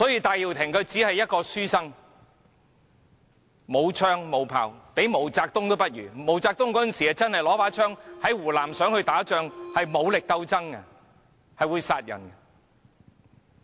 戴耀廷只是一名書生，他沒有槍、沒有炮，連毛澤東也不如，那時的毛澤東真的是拿着槍想在湖南打仗，進行武力鬥爭，是會殺人的。